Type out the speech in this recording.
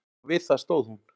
Og við það stóð hún.